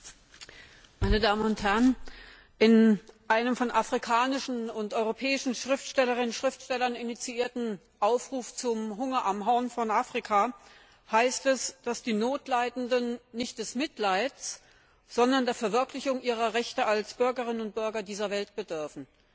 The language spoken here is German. Frau Präsidentin, meine Damen und Herren! In einem von afrikanischen und europäischen Schriftstellerinnen und Schriftstellern initiierten Aufruf zum Hunger am Horn von Afrika, heißt es, dass die Notleidenden nicht des Mitleids, sondern der Verwirklichung ihrer Rechte als Bürgerinnen und Bürger dieser Welt bedürfen.